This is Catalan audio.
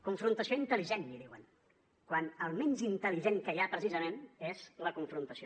confrontació intel·ligent en diuen quan el menys intel·ligent que hi ha precisament és la confrontació